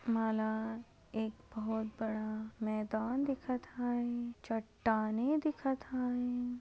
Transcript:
मला एक बहुत बड़ा मैदान दिखत आहे चट्टाने दिखत आहे.